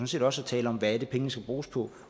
set også at tale om hvad det er pengene skal bruges på